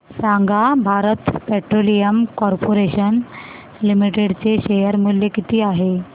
सांगा Bharat petroleum corporation limited चे share मूल्य किती आहे